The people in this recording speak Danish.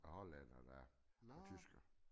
Holland og der tysker